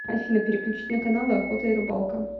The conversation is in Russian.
афина переключить на каналы охота и рыбалка